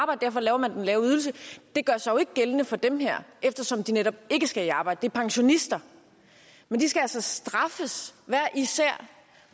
og derfor laver man den lave ydelse det gør sig jo ikke gældende for dem her eftersom de netop ikke skal i arbejde det er pensionister men de skal altså straffes hver især